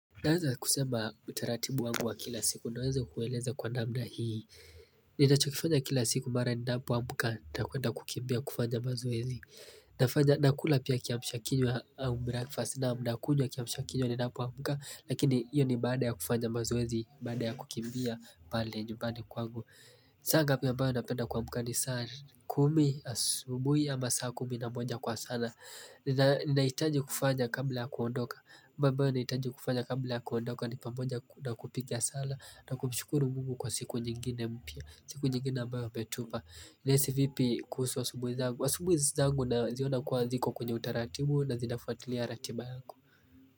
Naeza kusema utaratibu wangu wa kila siku naweza kueleza kwa namna hii ninachokifanya kila siku mara ninapoamka nitakwenda kukimbia kufanya mazoezi nafanya nakula pia kiamsha kinywa au breakfast naam nakunywa kiamsha kinywa ninapoamka Lakini iyo ni baada ya kufanya mazoezi baada ya kukimbia pale nyumbani kwangu saa ngapi ambao napenda kuamka ni saa kumi asubuhi ama saa kumi na moja kwa sana Ninahitaji kufanya kabla ya kuondoka mambo ambayo nahitaji kufanya kabla ya kuondoka ni pamoja na kupiga sala na kumshukuru mungu kwa siku nyingine mpya siku nyingine ambao ametupa Nahisi vipi kuhusu asubuhi zangu asubuhi zangu naziona kuwa ziko kwenye utaratibu na zinafuatilia ratiba.